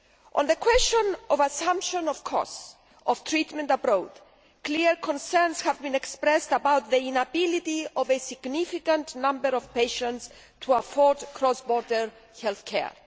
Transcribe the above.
On the question of assumption of the costs of treatment abroad, clear concerns have been expressed about the inability of a significant number of patients to afford cross border health care.